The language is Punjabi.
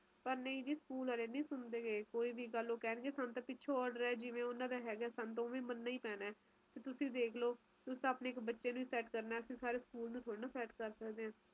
ਉਹ ਵਿਆਹ ਵੀ ਹੇਗਾ ਨਾ ਸਾਡੀ ਨਨਾਣ ਦਾ ਫਿਰ ਉਸ time ਤੇ ਆਵਾਂਗੇ ਤੇ ਨਾਲੇ ਵਧੀਆ ਦੋ-ਚਾਰ ਦਿਨ ਲਾ ਲਾਗੇ ਦਿੱਲੀ ਦੇ ਸਰਦੀ ਵੀ ਬਹੁਤ ਮਸ਼ਹੂਰ ਹੈ ਨਹੀਂ ਮਸ਼ਹੂਰ ਨੀ